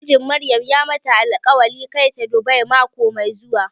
Mijin Maryam ya mata alƙwarin kai ta Dubai mako mai zuwa.